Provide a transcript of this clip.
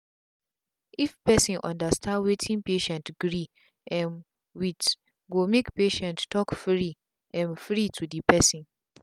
if person understand wetin patient gree um with go make patient talk free um free to the person.